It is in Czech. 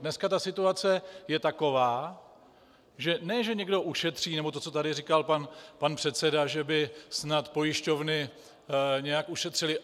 Dneska ta situace je taková, že ne že někdo ušetří, nebo to, co tady říkal pan předseda, že by snad pojišťovny nějak ušetřily.